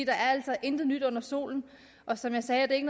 er altså intet nyt under solen og som jeg sagde er det ikke